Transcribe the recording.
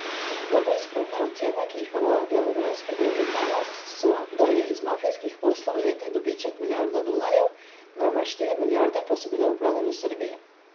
Najbolj skromne ocene, ki jih navaja beograjski dnevnik Danas, so, da je iz mafijskih poslov letni dobiček milijarda dolarjev, najmanj štiri milijarde pa so bile oprane v Srbiji.